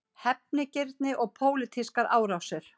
Hefnigirni og pólitískar árásir